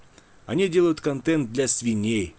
они делают контент для свиней